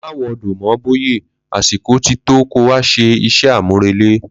Ma wo do mo Boye, àsìkò ti to kó wá ṣẹ iṣẹ́ àmúrelé